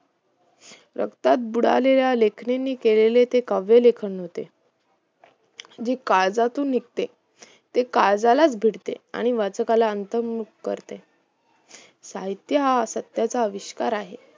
रक्तात बुडालेल्या लेखनिंणी केलेले ते कावयालेखण होते जे काळजातून निघते ते काळजालाच भिडते, आणि वाचकाला आंतर्मुख करते साहित्य हा सत्याचा आविष्कार आहे